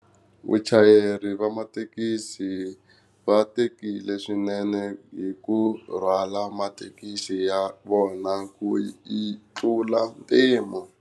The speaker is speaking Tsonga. Vachayeri va mathekisi va tekile swinene hi ku rhwala mathekisi ya vona ku yi tlula mpimo.